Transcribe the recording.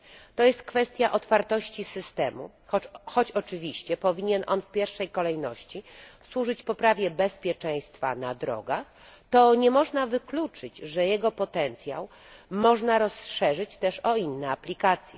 To kwestia otwartości systemu. Choć oczywiście powinien on w pierwszej kolejności służyć poprawie bezpieczeństwa na drogach, to nie można wykluczyć, że jego potencjał można rozszerzyć też o inne aplikacje.